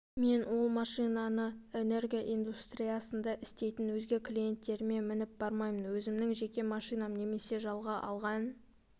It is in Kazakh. мен ол машинаны энергия индустриясында істейтін өзге клиенттеріме мініп бармаймын өзімнің жеке машинам немесе жалға алған